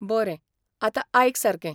बरें, आतां आयक सारकें.